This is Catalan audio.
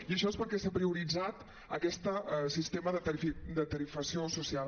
i això és perquè s’ha prioritzat aquest sistema de tarifació social